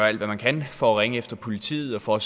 alt hvad man kan for at ringe efter politiet og for